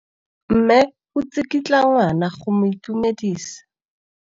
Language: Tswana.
Mme o tsikitla ngwana go mo itumedisa.